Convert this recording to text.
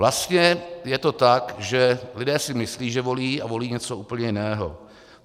Vlastně je to tak, že lidé si myslí, že volí, a volí něco úplně jiného.